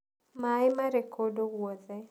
Maĩ maarĩ kũndũ guothe.